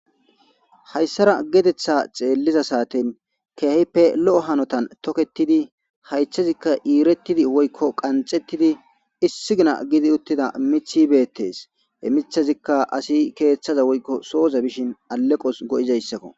hayssara geetetha xeelliza saatin keehippe lo7o hanotan toketidi haythezikka iirettidi woykko qanxettidi issigina gidi uttida mithibeettes e mithazikka asi keeththaza woykko sooza bishin aleqos go7izayssakko